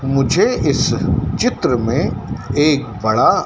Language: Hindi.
मुझे इस चित्र में एक बड़ा--